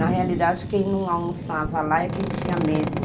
Na realidade, quem não almoçava lá é quem tinha medo.